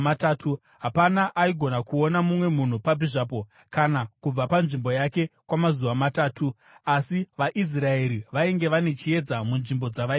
Hapana aigona kuona mumwe munhu papi zvapo kana kubva panzvimbo yake kwamazuva matatu. Asi vaIsraeri vainge vane chiedza munzvimbo dzavaigara.